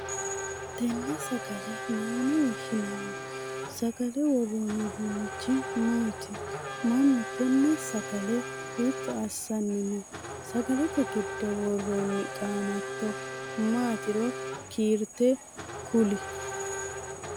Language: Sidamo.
Tenne sagale mayine woshinnanni? Sagale woroonni uduunichi maati? Manu tenne sagale hiitto asanni noo? Sagalete gido woroonni qaamato maatiro kiirte kuli?